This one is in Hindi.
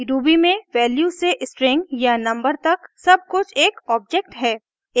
ruby में वैल्यू से string या नंबर तक सब कुछ एक ऑब्जेक्ट है;